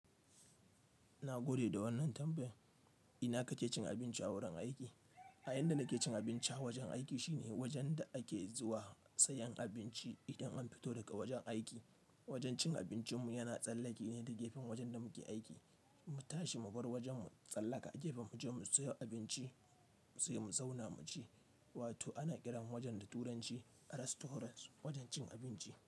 Na gode da wannan tambayan. Ina kake cin abinci a wurin aiki? A inda nake cin abinci a wajen aiki shine wajen da ake zuwa sayan abinci idan an fito daga wajen aiki. Wajen cin abincinmu yana tsallake ne da gefen wajen da muke aiki. Mu tashi mu bar wajenmu, tsallaka gefe mu je mu siyo abinci, sai mu zauna mu ci. Wato ana kiran wajen da turanci "Restaurant", wajen cin abinci.